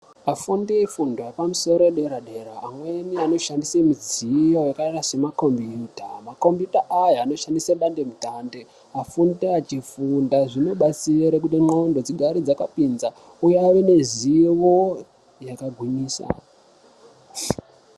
Afundi efundo yepamusoro yedera-dera amweni anoshandise mudziyo yakaita semakombiyuta. Makombiyuta aya anoshandise dandemutande, afundi achifunda. Zvinobatsira kuti ndxondo dzigare dzakapinza uye ave nezivo yakagwinyisa.